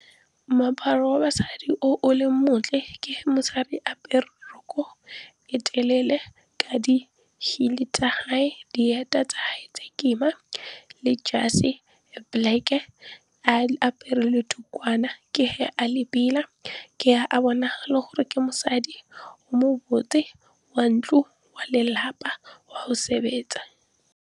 Moaparo wa basadi o leng montle ke mosadi apere roko e telele ka di-heel tsa gage, dieta tsa gage kima le jase e black-e, a apere le tukwana ke ge a le pila. Ke ge a bonagala gore ke mosadi o mo botse, wa ntlo, wa lelapa, wa go sebetsa.